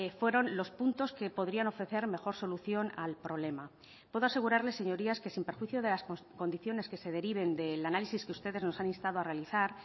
fueron los puntos que podrían ofrecer mejor solución al problema puedo asegurarles señorías que sin perjuicio de las condiciones que se deriven del análisis que ustedes nos han instado a realizar